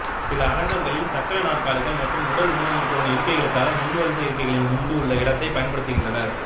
சில அரங்கங்களில் சக்கர நாற்காலிகள் மற்றும் உடல் ஊனமுற்றோரின் இருக்கைகளுக்காக முன்வரிசை இருக்கைகளின் முன்பு உள்ள இடத்தைப் பயன்படுத்துகின்றனர்